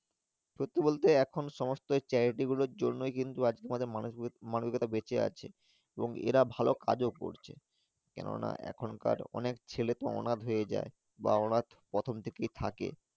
সত্যি বলতে এখন সমস্ত Charity গুলোর জন্য কিন্তু আজ কে আমাদের মানুষ গুলো বেঁচে আছে এবং এরা ভালো কাজ ও করছে কেননা এখন কার অনেক ছেলে অনাথ হয়ে যাই বা ওরা প্রথম থাকে থাকে।